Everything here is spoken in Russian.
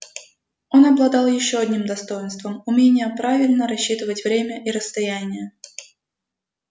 он обладал ещё одним достоинством умением правильно рассчитывать время и расстояние